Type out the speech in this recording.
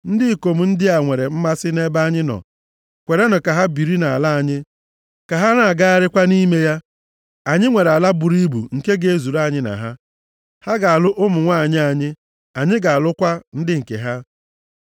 “Ndị ikom ndị a nwere mmasị nʼebe anyị nọ. Kwerenụ ka ha biri nʼala anyị, ka ha na-agagharị kwa nʼime ya. Anyị nwere ala buru ibu nke ga-ezuru anyị na ha. Ha ga-alụ ụmụ nwanyị anyị, anyị ga-alụkwa ndị nke ha.